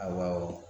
Awɔ